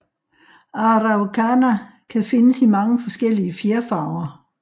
Araucana kan findes i mange forskellige fjerfarver